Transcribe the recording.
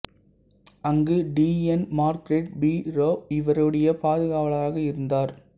அங்கு T N Margaret Perera இவருடைய பாதுகாவலராக இருந்தார்